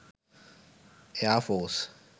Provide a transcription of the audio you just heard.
air force